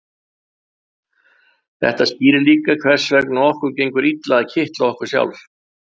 þetta skýrir líka hvers vegna okkur gengur illa að kitla okkur sjálf